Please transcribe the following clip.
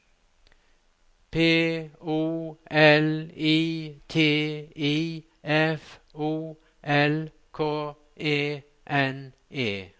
P O L I T I F O L K E N E